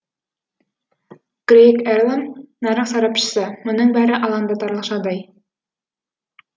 грейг эрлам нарық сарапшысы мұның бәрі алаңдатарлық жағдай